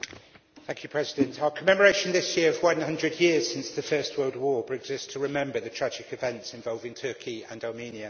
Mr President, our commemoration this year of 100 years since the First World War brings us to remember the tragic events involving Turkey and Armenia.